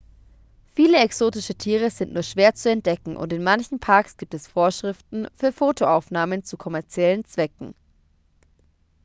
viele exotische tiere sind nur schwer zu entdecken und in manchen parks gibt es vorschriften für fotoaufnahmen zu kommerziellen zwecken